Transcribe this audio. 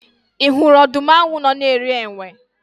Ị hụrụ ọdụm ahụ nọ na-eri enwe?